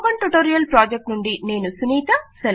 spoken tutorial project నుండి నేను సునీత